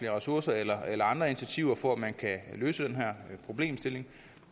ressourcer eller andre initiativer for at man kan løse den her problemstilling